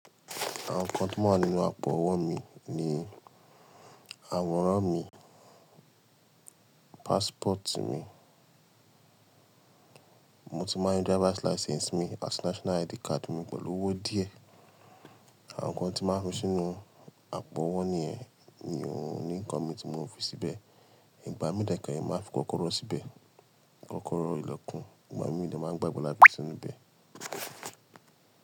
Àwọn nǹkan tówà nínú àpò owó mi ni àwòrán mi, passport mi, mo ti máa ń rí driver's license mi àti national ID card mi pẹ̀lú owó díẹ̀. Àwọn nǹkan tí máa ń fi sínú àpò owó nìyẹn mi ò ní nǹkan mi tí mò ń fi síbẹ̀. Ìgbà mi dé kéré mo máa ń fi kọ́kọ́rọ́ síbẹ̀, kọ́kọ́rọ́ ìlẹ̀kùn, ìgbà mi mo dé máan gbàgbé la ti fi inú ibẹ̀.